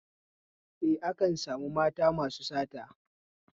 Eh, akan sami mata masu sata